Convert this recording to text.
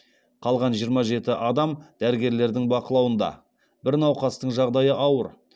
қалған жиырма жеті адам дәрігерлердің бақылауында бір науқастың жағдайы ауыр